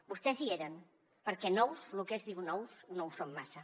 vostès hi eren perquè nous lo que es diu nous no ho són massa